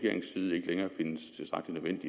vil